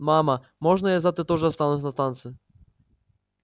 мама можно я завтра тоже останусь на танцы